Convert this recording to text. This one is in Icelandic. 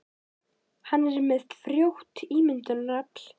Hann er með frjótt ímyndunarafl.